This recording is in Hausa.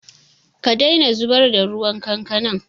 Ka daina zubar da ruwan kankanan!